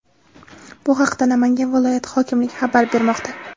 Bu haqda Namangan viloyati hokimligi xabar bermoqda .